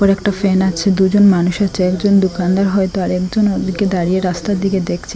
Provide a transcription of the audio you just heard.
একটা ফ্যান আছে দুজন মানুষ আছে একজন দোকানদার হয়তো আরেকজন ওদিকে দাঁড়িয়ে রাস্তার দিকে দেখছে।